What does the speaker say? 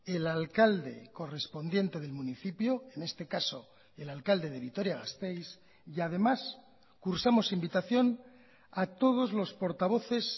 el alcalde correspondiente del municipio en este caso el alcalde de vitoria gasteiz y además cursamos invitación a todos los portavoces